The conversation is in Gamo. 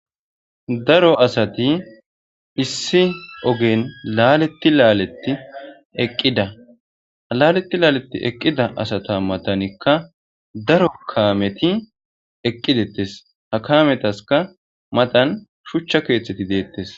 Daro asati issi ogen laleti laleti eqida ha laleti laleti eqida asata matanika daro kameti eqidettes ha kametaska matan shucha ketheti detes.